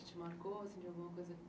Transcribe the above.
Que te marcou assim de alguma coisa...